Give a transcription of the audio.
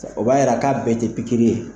O b'a yira k'a bɛɛ tɛ pikiri ye.